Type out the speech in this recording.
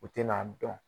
U tɛn'a dɔn